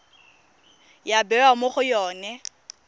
ya bewa mo go yone